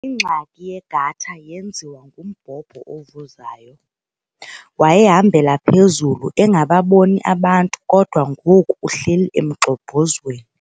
Ingxaki yegatha yenziwa ngumbhobho ovuzayo. wayehambela phezulu engababoni abantu kodwa ngoku uhleli emgxobhozweni